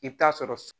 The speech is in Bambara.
I bɛ taa sɔrɔ